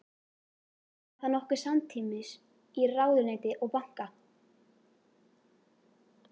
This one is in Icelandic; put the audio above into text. Var það nokkuð samtímis í ráðuneyti og banka.